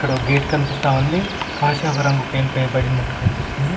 ఒక గేట్ కనిపిస్తా ఉంది కాషాయపు రంగు పెయింట్ వేయబడినట్టు కనిపిస్తుంది.